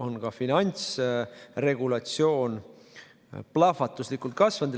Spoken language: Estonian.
on ka finantsregulatsioon plahvatuslikult kasvanud.